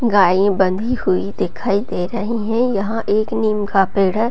गाय बंधी हुई दिखाई दे रही है | यहाँ एक नीम का पेड़ है ।